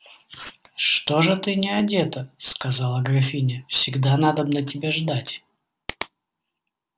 что же ты не одета сказала графиня всегда надобно тебя ждать